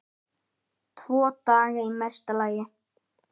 Tvo daga í mesta lagi.